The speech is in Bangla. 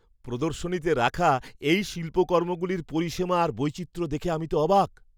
প্রদর্শনীতে রাখা এই শিল্পকর্মগুলির পরিসীমা আর বৈচিত্র্য দেখে তো আমি অবাক!